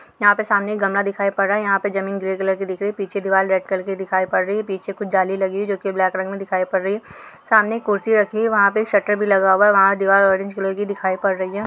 यहाँ पर सामने गमला दिखाई पड रहा है यहाँ पर जमीन ग्रे कलर की दिख रही पीछे दीवार रेड कलर दिखाई पड रही है पीछे कुछ जाली लगी हुई है जो की ब्लॅक कलर मे दिखाई पड रही है सामने कुर्सी रखी है वहा पे शटर भी लगा हुआ है वहा दीवार ऑरेंज कलर की दिखाई पड रही है।